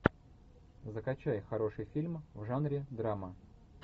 закачай хороший фильм в жанре драма